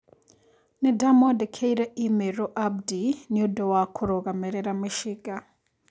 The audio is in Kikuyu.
Nĩndamwandĩkĩire i-mīrū Abdi nĩũndũ wa kũrũgamĩrĩra mĩcinga.